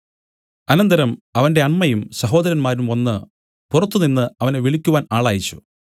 അനന്തരം അവന്റെ അമ്മയും സഹോദരന്മാരും വന്നു പുറത്തുനിന്നു അവനെ വിളിക്കുവാൻ ആളയച്ച്